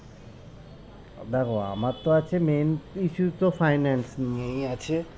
দেখো আমার তো আছে main issues তো finance নিয়েই আছে